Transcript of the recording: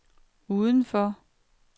udenfor